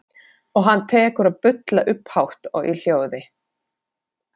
Og hann tekur að bulla upphátt og í hljóði.